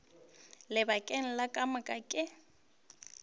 lebakeng le ka moka ke